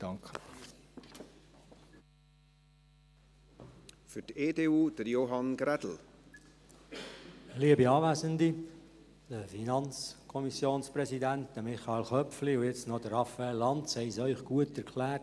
Der Präsident der FiKo sowie Michael Köpfli und schliesslich Raphael Lanz haben es Ihnen gut erklärt.